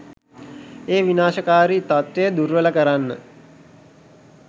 ඒ විනාශකාරී තත්ත්වය දුර්වල කරන්න